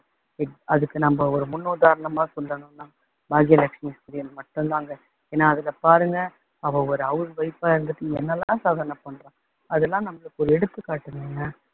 அதுக்கு நம்ம ஒரு முன்னுதாரணமா சொல்லணும்னா பாக்கியலட்சுமி serial மட்டுந்தாங்க. ஏன்னா அதுல பாருங்க அவள் ஒரு house wife ஆ இருந்துட்டு என்னவெல்லாம் சாதனை பண்றா. அதெல்லாம் நம்மளுக்கு எடுத்துக்காட்டுதுங்க.